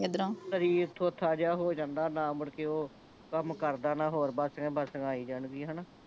ਐਧਰੋਂ ਸਰੀਰ ਥੋਥਾ ਜਿਹਾ ਹੋ ਜਾਂਦਾ ਨਾਂ ਮੁੜਕੇ ਓਹ ਕੰਮ ਕਰਦਾ ਨਾਂ ਹੋਰ ਬਾਸੀਆਂ ਹੀ ਬਾਸੀਆਂ ਆਈ ਜਾਣ ਗੀਆਂ ਹਣਾ